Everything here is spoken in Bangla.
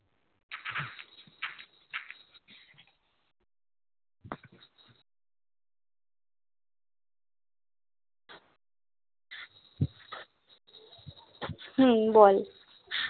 হম বল